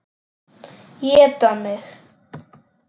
Éta mig.